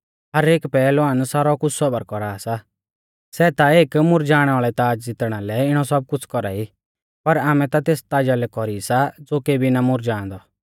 हर एक पहलवान सारौ कुछ़ सौबर कौरा सा सै ता एक मुरझ़ाणै वाल़ै ताज़ ज़ितणा लै इणौ सब कुछ़ कौरा ई पर आमै ता तेस ताजा लै कौरी सा ज़ो केबी ना मुरझ़ाअंदौ